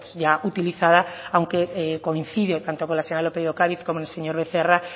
ya utilizada aunque coincide tanto con la señora lópez de ocáriz como el señor becerra